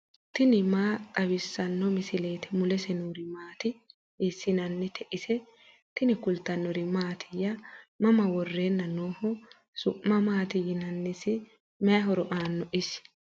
tini maa xawissanno misileeti ? mulese noori maati ? hiissinannite ise ? tini kultannori mattiya? mama woreenna nooho? su'ma maatti yinnannisi? mayi horo aannoho isi?